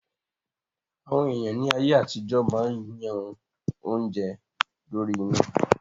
Àwọn èèyàn ní ayé àtijọ́ máa yan oúnjẹ lórí iná